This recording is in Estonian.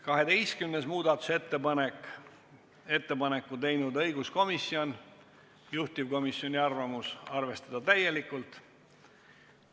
12. muudatusettepaneku on teinud õiguskomisjon ja taas on juhtivkomisjoni otsus arvestada seda täielikult.